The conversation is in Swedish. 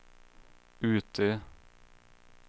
Utö